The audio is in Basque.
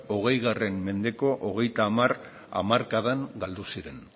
hogei mendeko hogeita hamar hamarkadan galdu ziren